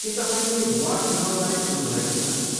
के तपाईँले वार्ड चुनाउबारे सुन्नुभएको छ?